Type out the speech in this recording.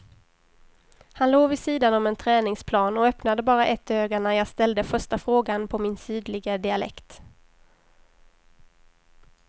Han låg vid sidan om en träningsplan och öppnade bara ett öga när jag ställde första frågan på min sydliga dialekt.